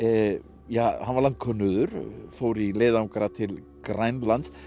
ja hann var landkönnuður fór í leiðangra til Grænlands